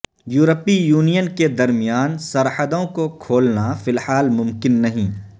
یورپی یونین کے درمیان سرحدوں کو کھولنا فی الحال ممکن نہیں